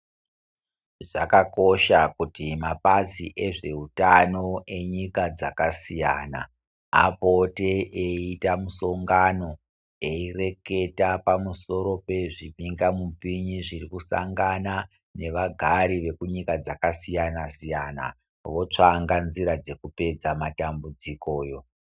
Zvakakosha kuti mapazi ezve utano enyika dzaka siyana apote eyi ita mu songano eyi reketa pa musoro pe zvibinga mupini zviri kusangana ne vagari veku nyika dzaka siyana siyana votsvanga nzira dzekupedza matambudzikoyo.